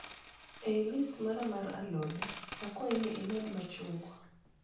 E listi mara mar alode ,akwayi ni imed machungwa